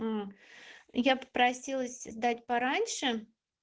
я попросилась дать пораньше